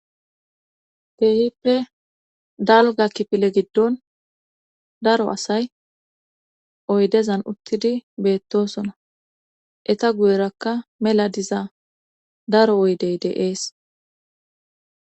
geehippe dalga kipile giddon daro asay oydezan uttidi beettosona eta guyerakka mela diza daro oydey deees